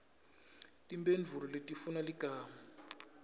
timphendvulo letifuna ligama